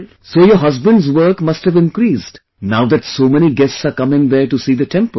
So your husband's work must have increased now that so many guests are coming there to see the temple